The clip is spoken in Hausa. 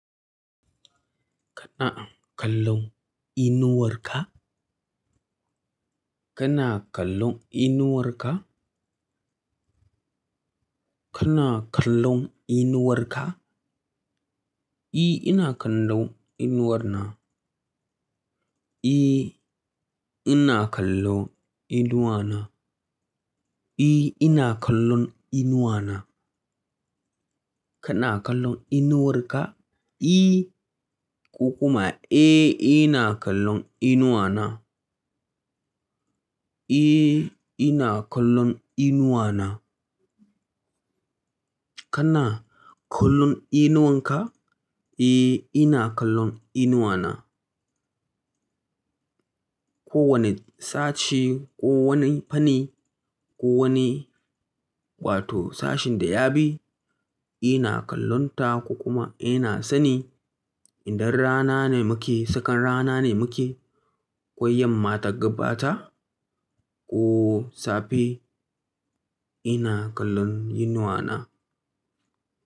Kana kallon inuwar ka? Kana kallon inuwar ka? Kana kallon inuwar ka? I ina kallon inuwar na. I ina kallon inuwa na. I ina kallon inuwa na. Kana kallon inuwar ka? I ko kuma eh ina kallon inuwa na. Eh ina kallon inuwa na. Kana kallon inuwar ka? Eh ina kallon inuwa na. Ko wane sashi ko wani fanni ko wane wato sashen da ya bi, ina kallon ta ko kuma ina sani idan rana ne muke, tsakan rana ne muke, kwaiyamma ta gabata ko safe ina kallon inuwa na.